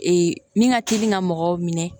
min ka teli ka mɔgɔw minɛ